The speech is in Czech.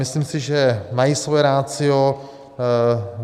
Myslím si, že mají svoje ratio.